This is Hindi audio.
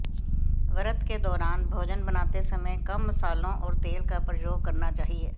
व्रत के दौरान भोजन बनाते समय कम मसालों और तेल का प्रयोग करना चाहिए